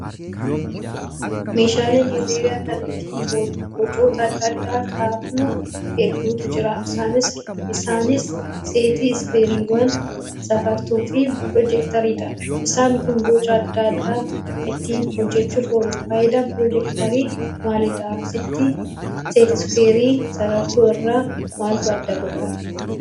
Meeshaaleen herreegaa kan ittiin bocoota adda addaa kaafnu hedduutu jiru. Isaanis seet-iskuuweeriiwwan, sarartuu fi pirootiraaktariidha. Isaan kun boca adda addaa ittiin hojjachuuf oolu. Fayidaan pirootiraaktarii maalidhaa? Seet-iskuuweerii sarartuu irraa maaltu adda godhaa?